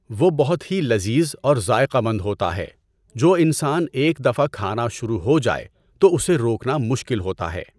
وہ بہت ہی لذیذ اور ذائقہ مند ہوتا ہے۔ جو انسان ایک دفعہ کھانا شروع ہو جائے تو اسے روکنا مشکل ہوتا ہے۔